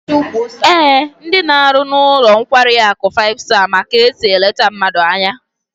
Ee, ndi na-aru n'ulo nkwari aku five star ma ka esi elete mmadu anya